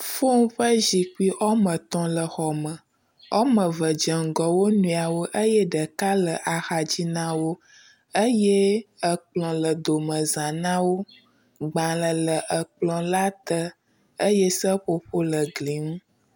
Fom ƒe zikpui woame etɔ̃ le xɔme, woame eve dze ŋgɔ dze wo nɔewo eye ɖeka le axadzi na wo eye ekplɔ le domeza na wo, gbalẽ le ekplɔ la te eye seƒoƒo le gli ŋu.